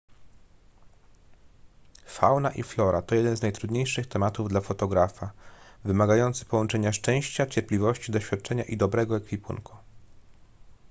fauna i flora to jeden z najtrudniejszych tematów dla fotografa wymagający połączenia szczęścia cierpliwości doświadczenia i dobrego ekwipunku